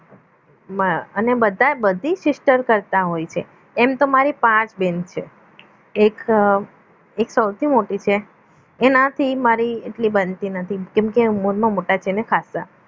માં અને બધાએ બધી sister કરતા હોય છે એમ તો મારી પાંચ બેન છે એક એક સૌથી મોટી છે એનાથી મારી એટલી બનતી નથી કેમકે ઉમરમાં મોટા છે ને ખાસ્સા